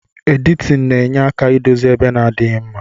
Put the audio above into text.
Editin na enye aka idozi ebe na adighi mma.